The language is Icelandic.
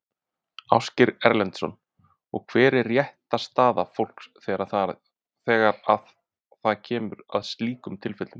Ásgeir Erlendsson: Og hver er réttarstaða fólks þegar að það kemur að slíkum tilfellum?